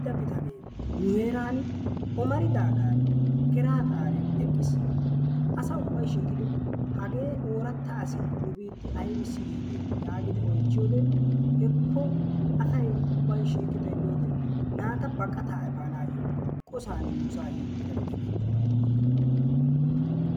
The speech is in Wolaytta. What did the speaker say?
Kareetta bitanee maran omaridaagan keraa daariyan eqqis. Asa ubbayi shiiqidi hagee ooratta asee nu biitti ayssi yiidee yaagidi oychchiyode hekko asa ubbayi shiiqi xeelliyode naata baqataa efaanayyo qosan nusaa yi uttida bitaniya.